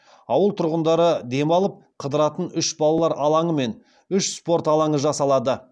ауыл тұрғындары демалып қыдыратын үш балалар алаңы мен үш спорт алаңы жасалады